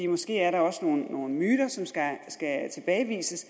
måske er der også nogle nogle myter som skal tilbagevises